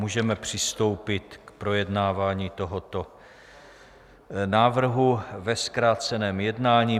Můžeme přistoupit k projednávání tohoto návrhu ve zkráceném jednání.